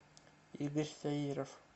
игорь саиров